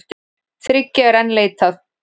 Þriggja er enn leitað.